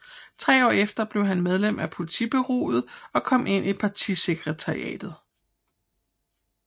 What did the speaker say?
Tre år efter blev han medlem af politbureauet og kom ind i partisekretariatet